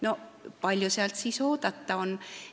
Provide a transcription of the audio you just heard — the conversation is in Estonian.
No kui palju sealt siis oodata on!